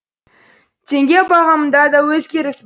теңге бағамында да өзгеріс